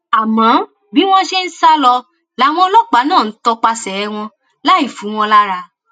àmọ bí wọn ṣe ń ń sá lọ làwọn ọlọpàá náà ń tọpasẹ wọn láì fu wọn lára